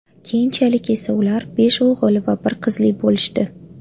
Keyinchalik esa ular besh o‘g‘il va bir qizli bo‘lishdi.